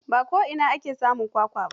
Ba ko'ina ake samun kwakwa ba.